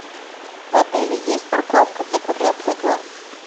в отеле есть парковка для квадроциклов